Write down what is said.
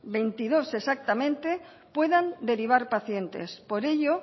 veintidós exactamente puedan derivar pacientes por ello